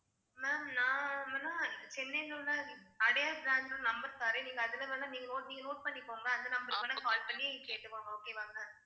ma'am சென்னையில உள்ள Adyar branch ஓட number தர்றேன் நீங்க அதுல வந்து நீங்க note பண்ணிக்கோங்க அந்த number க்கு வேணா call பண்ணி கேட்டுக்கோங்க okay வா ma'am